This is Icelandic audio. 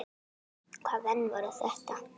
Hvaða menn voru þetta.